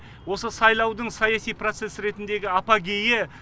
осы сайлаудың саяси процесс ретіндегі апогейі